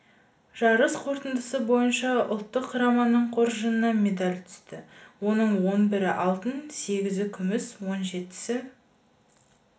жарыс қортындысы бойынша ұлттық құраманың қоржынына медаль түсті оның он бірі алтын сегізі күміс он жетісі